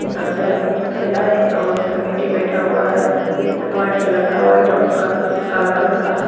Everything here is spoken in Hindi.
ने हाथ पहले अपने फैलाए है और समेटे बैठा हुआ है उसके वाइट कलर का वाइट और काला कलर का है।